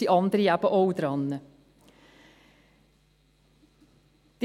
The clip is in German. Nun sind andere eben auch an der Reihe.